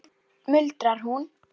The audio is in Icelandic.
muldrar hún.